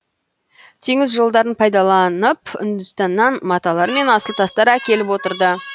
теңіз жолдарын пайдаланып үндістаннан маталар мен асыл тастар әкеліп отырды